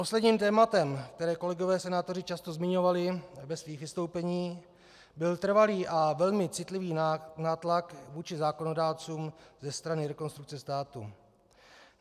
Posledním tématem, které kolegové senátoři často zmiňovali ve svých vystoupeních, byl trvalý a velmi citlivý nátlak vůči zákonodárcům ze strany Rekonstrukce státu.